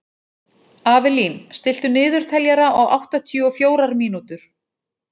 Avelín, stilltu niðurteljara á áttatíu og fjórar mínútur.